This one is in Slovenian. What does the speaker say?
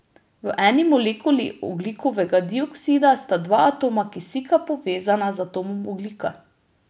V eni molekuli ogljikovega dioksida sta dva atoma kisika povezana z atomom ogljika.